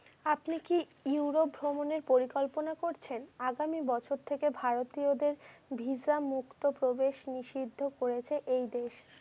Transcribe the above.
আপনি কি Europe ভ্রমনের পরিকল্পনা করছেন? আগামি বছর থেকে ভারতীয়দের ভিসামুক্ত প্রবেশ নিষিদ্ধ করেছে এই দেশ।